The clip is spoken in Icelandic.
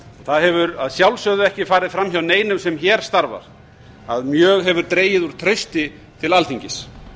það hefur að sjálfsögðu ekki farið fram hjá neinum sem hér starfar að mjög hefur dregið úr trausti til alþingis